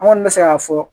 An kɔni bɛ se k'a fɔ